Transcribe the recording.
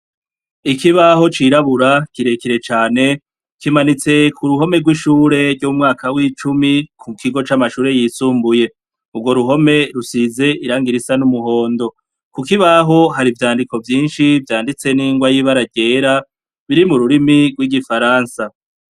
Ikibaho cirabura kirekire cane, kimanitse ku ruhome rw'ishure ry'umwaka w'icumi ku kigo c'amashure yisumbuye. Urwo ruhome rusize irangi risa n'umuhondo. Ku kibaho hari ivyandiko vyinshi vyanditse n'ingwa y'ibara ryera, biri mu rurimi rw'Igifaransa.